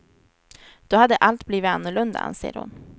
Då hade allt blivit annorlunda anser hon.